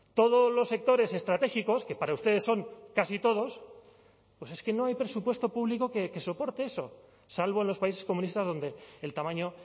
todos los sectores estratégicos que para ustedes son casi todos pues es que no hay presupuesto público que soporte eso salvo en los países comunistas donde el tamaño